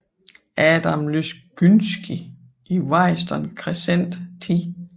Adam Łyszczyński i Warriston Crescent 10